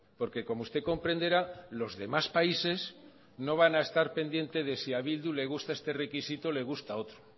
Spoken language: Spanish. porque como usted comprenderá los demás países no van a estar pendiente de si a bildu le gusta este requisito o le gusta otro